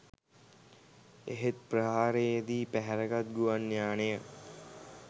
එහෙත් ප්‍රහාරයේදී පැහැරගත් ගුවන් යානය